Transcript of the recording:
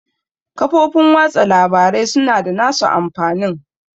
Social Media has its advantage